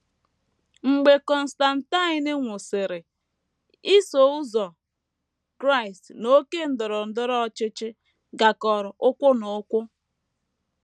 Mgbe Constantine nwụsịrị, Iso Ụzọ Kraịst na oké ndọrọ ndọrọ ọchịchị gakọrọ ụkwụ na ụkwụ. ”